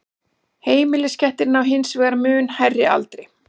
heimiliskettir ná hins vegar mun hærri aldri